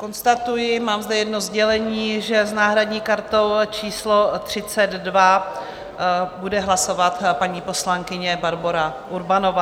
Konstatuji, mám zde jedno sdělení, že s náhradní kartou číslo 32 bude hlasovat paní poslankyně Barbora Urbanová.